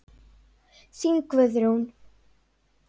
Þín, Guðrún.